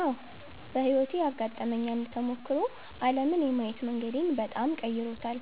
አዎ፣ በሕይወቴ ያጋጠመኝ አንድ ተሞክሮ ዓለምን የማየት መንገዴን በጣም ቀይሮታል።